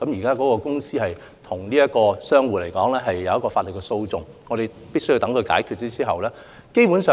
有關公司和商戶現時已展開法律訴訟，我們必須等待案件解決。